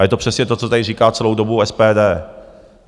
A je to přesně to, co tady říká celou dobu SPD.